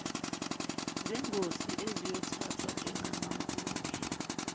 zengosi eziyothathwa njengamampunge